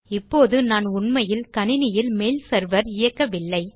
இப்போது நான் உண்மையில் கணினியில் மெயில் செர்வர் இயக்கவில்லை